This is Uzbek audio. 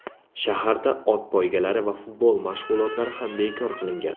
Shaharda ot poygalari va futbol mashg‘ulotlari ham bekor qilingan.